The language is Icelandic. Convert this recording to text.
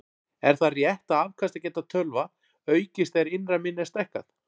Er það rétt að afkastageta tölva aukist þegar innra minni er stækkað?